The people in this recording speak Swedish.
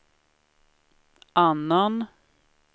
annan